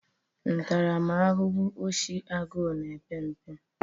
Ntaramahụhụ oshi agụụ na-epe mpe.